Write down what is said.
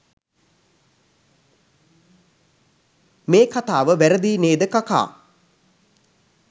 මේ කතාව වැරදියි නේද කකා?